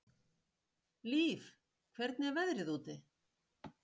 Líf, hvernig er veðrið úti?